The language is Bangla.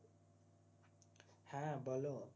হ্যাঁ বললো